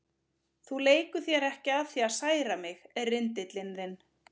Þú leikur þér ekki að því að særa mig, rindillinn þinn.